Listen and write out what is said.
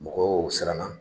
Mɔgɔw siranna